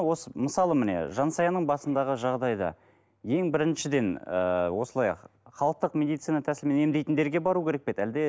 осы мысалы міне жансаяның басындағы жағдайда ең біріншіден ыыы осылай халықтық медицина тәсілімен емдейтіндерге бару керек пе еді әлде